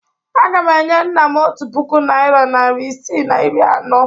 Agam enye nna m otu puku naịra narị isii na iri anọ.